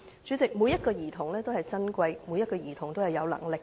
主席，每名兒童也是珍貴的，亦是有能力的。